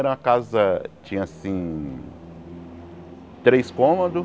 Era uma casa, tinha assim... Três cômodos.